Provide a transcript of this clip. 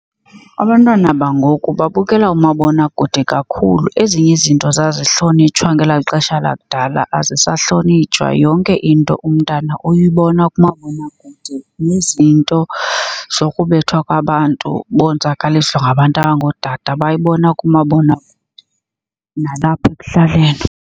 Abantwana bangoku babukela umabonakude kakhulu. Ezinye izinto zazihlonitshwa ngelaa xesha lakudala azisahlonitshwa, yonke into umntana uyibona kumabonakude. Nezinto zokubethwa kwabantu bonzakaliswe ngabantu abangootata bayibona kumabonakude nalapha ekuhlaleni.